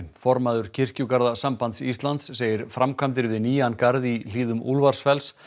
formaður kirkjugarðasambands Íslands segir framkvæmdir við nýjan garð í hlíðum Úlfarsfells